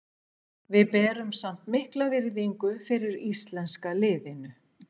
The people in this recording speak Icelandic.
Við berum samt mikla virðingu fyrir íslenska liðinu.